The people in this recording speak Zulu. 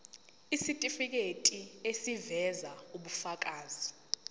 isitifiketi eziveza ubufakazi